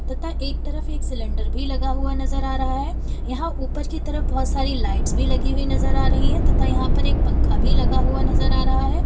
तथा एक तरफ एक सिलेंडर भी लगा हुआ नजर आ रहा है यहां ऊपर की तरफ बहुत सारी लाइट्स भी लगी हुई नजर आ रही है तथा यहां पर एक पंखा भी लगा हुआ नजर आ रहा है।